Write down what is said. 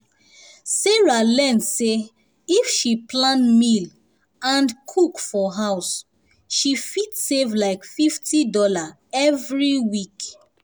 sarah learn say if she plan meal and cook for house she fit save like fifty dollars every week.